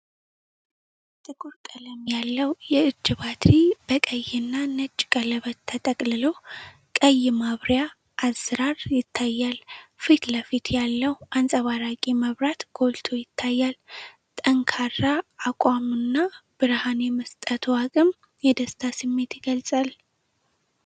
ጥቁር ቀለም ያለው የእጅ ባትሪ በቀይና ነጭ ቀለበት ተጠቅልሎ፣ ቀይ ማብሪያ አዝራር ይታያል። ፊት ለፊት ያለው አንጸባራቂ መብራት ጎልቶ ይታያል። ጠንካራ አቋሙና ብርሀን የመስጠቱ አቅም የደስታ ስሜት ይገልጻል።